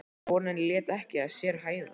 En vonin lét ekki að sér hæða.